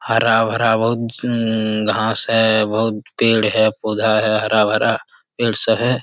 हरा-भरा बहुत सुन घास है बहुत पेड़ है पौधा है हरा-भरा है।